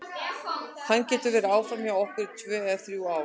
Hann getur verið áfram hjá okkur í tvö eða þrjú ár.